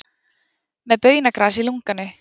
Með baunagras í lunganu